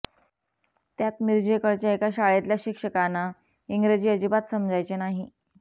त्यात मिरजेकडच्या एका शाळेतल्या शिक्षकाना इंग्रजी अजिबात समजायचे नाही